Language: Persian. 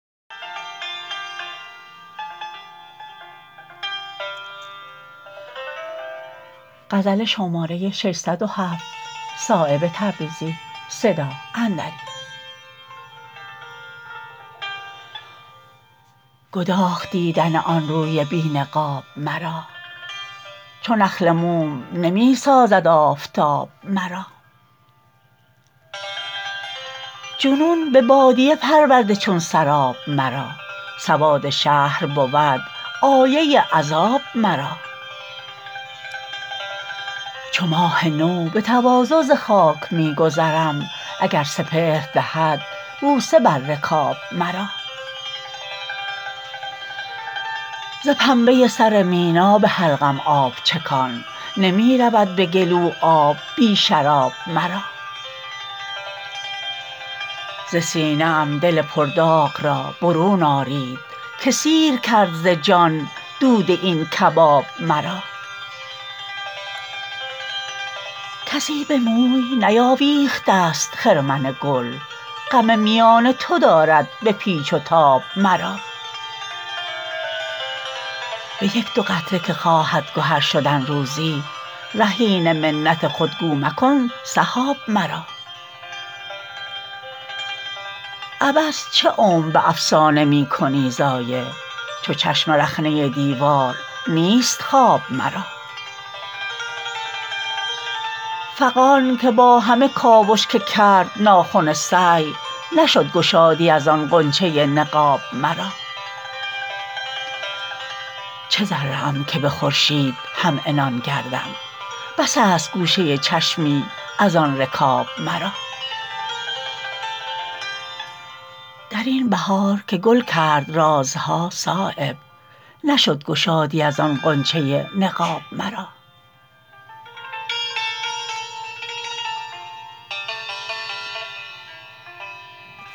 گداخت دیدن آن روی بی نقاب مرا چو نخل موم نمی سازد آفتاب مرا جنون به بادیه پرورده چون سراب مرا سواد شهر بود آیه عذاب مرا چو ماه نو به تواضع ز خاک می گذرم اگر سپهر دهد بوسه بر رکاب مرا ز پنبه سر مینا به حلقم آب چکان نمی رود به گلو آب بی شراب مرا ز سینه ام دل پرداغ را برون آرید که سیر کرد ز جان دود این کباب مرا کسی به موی نیاویخته است خرمن گل غم میان تو دارد به پیچ و تاب مرا به یک دو قطره که خواهد گهر شدن روزی رهین منت خود گو مکن سحاب مرا عبث چه عمر به افسانه می کنی ضایع چو چشم رخنه دیوار نیست خواب مرا فغان که با همه کاوش که کرد ناخن سعی نشد گشادی ازان غنچه نقاب مرا چه ذره ام که به خورشید همعنان گردم بس است گوشه چشمی ازان رکاب مرا درین بهار که گل کرد رازها صایب نشد گشادی ازان غنچه نقاب مرا